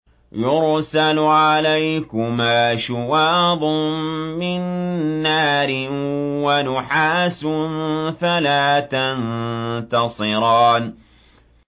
يُرْسَلُ عَلَيْكُمَا شُوَاظٌ مِّن نَّارٍ وَنُحَاسٌ فَلَا تَنتَصِرَانِ